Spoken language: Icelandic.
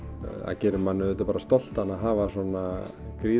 gerir mann auðvitað bara stoltan að hafa svona